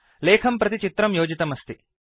लेखं प्रति चित्रं योजितमस्ति